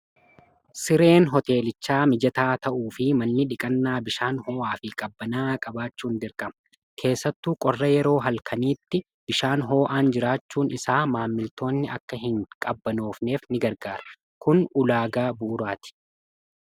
sireen hoteelichaa mijataa ta'uu fi manni dhiqannaa bishaan hoo'aa fi qabbanaa qabaachuun dirqama. keessattu qorra yeroo halkaniitti bishaan hoo'aan jiraachuun isaa maamiltootni akka hin qabbanoofneef ni gargaara kun ulaagaa buuraati.